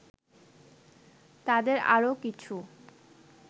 তাদের আরও কিছু